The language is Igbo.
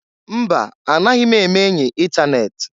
Mba! Anaghị m eme-enyi itanet.